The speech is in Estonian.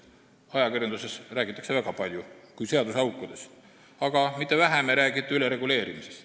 Ajakirjanduses räägitakse väga palju seaduseaukudest, aga mitte vähem ei räägita ülereguleerimisest.